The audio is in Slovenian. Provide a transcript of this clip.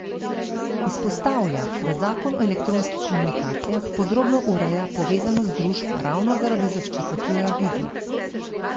Izpostavlja, da zakon o elektronskih komunikacijah podrobno ureja povezanost družb ravno zaradi zaščite pluralizma.